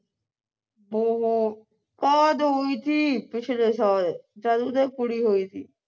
ਓ ਹੋ ਕਾਦ ਹੋਈ ਥੀ ਪਿਛਲੇ ਸਾਲ ਜਦ ਉਹਦੇ ਕੁੜੀ ਹੋਈ ਸੀ